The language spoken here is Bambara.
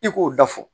I k'o da fɔ